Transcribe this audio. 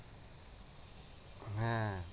হ্যাঁ